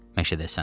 Məşədəsən.